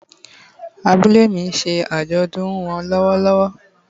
Abúlé mi nse àjòdùn won lówó lówó